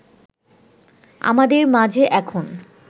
আমাদের মাঝে এখন